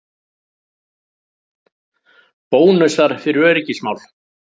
Bónusar fyrir öryggismál